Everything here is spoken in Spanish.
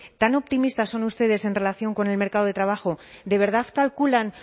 tan optimistas son ustedes en relación con el mercado de trabajo de verdad calculan